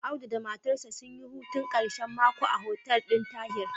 Audu da matarsa sun yi hutun ƙashen mako a hotel ɗin Tahi.